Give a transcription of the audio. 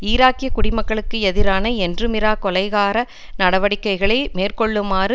ஈராக்கிய குடிமக்களுக்கு எதிரான என்றுமிரா கொலைகார நடவடிக்கைகளை மேற்கொள்ளுமாறு